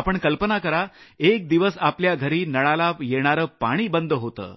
आपण कल्पना करा एक दिवस आपल्या घरी नळाला येणारं पाणी बंद होतं